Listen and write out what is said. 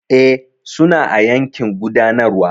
E, suna a yankin gudanarwa.